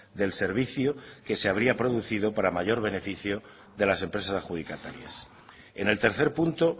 del servicio que se habría producido para mayor beneficio de las empresas adjudicatarias en el tercer punto